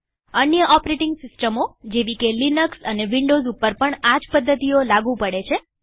બીજી અન્ય ઓપરેટીંગ સિસ્ટમો જેવી કે લિનક્સ અને વિન્ડોવ્સ ઉપર પણ આ જ પદ્ધતિઓ લાગુ પડે છે